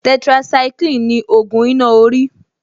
Tetracycline ni ògùn iná orí